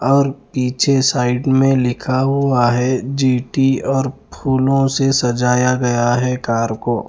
और पीछे साइड में लिखा हुआ है जी टी और फूलो से सजाया गया है कार को --